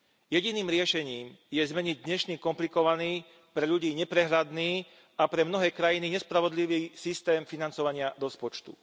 Jediným riešením je zmeniť dnešný komplikovaný, pre ľudí neprehľadný a pre mnohé krajiny nespravodlivý systém financovania rozpočtu.